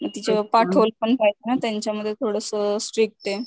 पाठवलं पण पाहिजे ना मग त्यांच्या मध्ये थोडासा स्ट्रीक्ट ये.